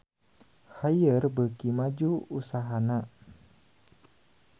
Haier beuki maju usahana